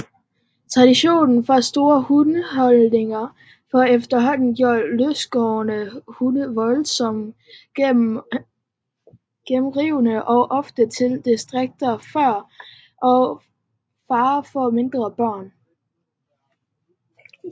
Traditionen for store hundehold har efterhånden gjort løstgående hunde voldsomt generende og ofte til direkte fare for mindre børn